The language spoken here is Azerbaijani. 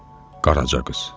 Qaraca qız.